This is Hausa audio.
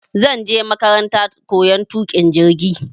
Zanje makarantar koyan tuƙin jirgi